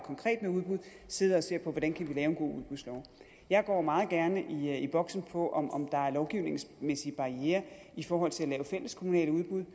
med udbud sidder og ser på hvordan vi kan lave en god udbudslov jeg går meget gerne i boksen på om der er lovgivningsmæssige barrierer i forhold til at lave fælleskommunale udbud